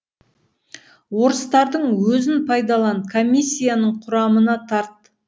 орыстардың өзін пайдалан комиссияның құрамына тарт